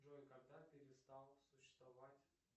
джой когда перестал существовать